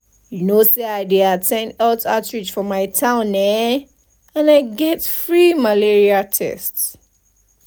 you know say i at ten d health outreach for my town eh and i get free malaria tests.